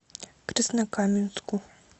краснокаменску